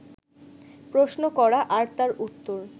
প্রশ্ন করা আর তার উত্তর